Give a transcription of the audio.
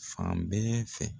Fan bɛɛ fɛ.